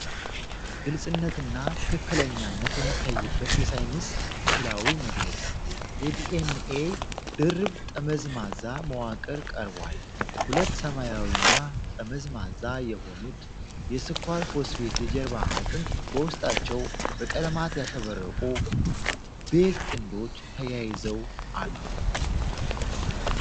ግልጽነትና ትክክለኛነት የሚታይበት የሳይንስ ሥዕላዊ መግለጫ። የዲ.ኤን.ኤ ድርብ ጠመዝማዛ መዋቅር ቀርቧል። ሁለት ሰማያዊና ጠመዝማዛ የሆኑት የ"ስኳር-ፎስፌት የጀርባ አጥንት" በውስጣቸው በቀለማት ያሸበረቁ "ቤዝ ጥንዶች" ተያይዘው አሉ።